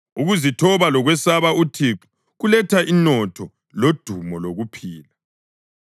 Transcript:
Ukuzithoba lokwesaba uThixo kuletha inotho lodumo lokuphila.